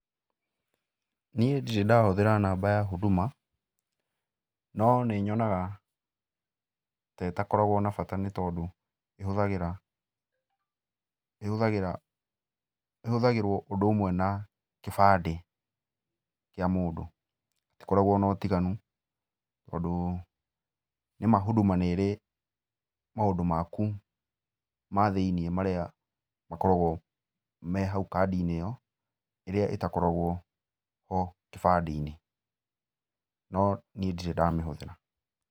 Niĩ ndirĩ ndahũthĩra namba ya Huduma, no nĩnyonaga ta ĩtakoragwo na bata nĩtondũ ĩhũthagĩra ĩhũthagĩra ĩhũthagĩrwo ũndũ ũmwe na kĩbandĩ kĩa mũndũ. Itikoragwo na ũtiganu tondũ, nĩma Huduma nĩrĩ maũndũ maku mathĩiniĩ marĩa makoragwo me hau kandi-inĩ ĩyo, ĩrĩa ĩtakoragwo ho kĩbandĩ-inĩ, no niĩ ndirĩ ndamĩhũthĩra.